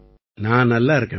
நான் நல்லா இருக்கேம்மா